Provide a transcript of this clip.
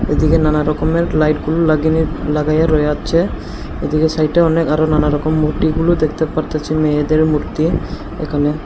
এদিকে নানা রকমের লাইটগুলো লাগিনি লাগাইয়া রইয়াছে এইদিকে সাইডে অনেক আরও নানা রকম মূর্তিগুলো দেখতে পারতাছি মেয়েদের মূর্তি একানে ।